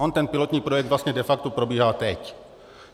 On ten pilotní projekt vlastně de facto probíhá teď.